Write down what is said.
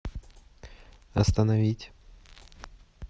остановить